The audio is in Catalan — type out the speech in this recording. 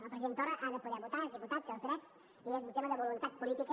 el president torra ha de poder votar és diputat té els drets i és un tema de voluntat política